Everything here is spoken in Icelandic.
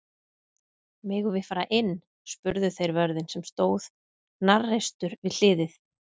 Megum við fara inn? spurðu þeir vörðinn sem stóð hnarreistur við hliðið.